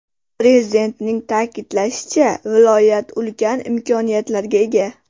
Prezidentning ta’kidlashicha, viloyat ulkan imkoniyatlarga ega.